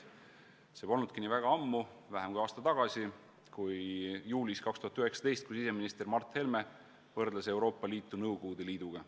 See polnudki väga ammu, vähem kui aasta tagasi, kui 2019. aasta juulis võrdles siseminister Mart Helme Euroopa Liitu Nõukogude Liiduga.